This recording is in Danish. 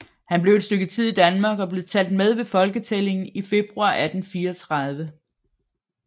Han blev et stykke tid i Danmark og blev talt med ved folketællingen i februar 1834